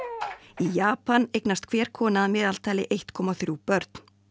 í Japan eignast hver kona að meðaltali eitt komma þrjú börn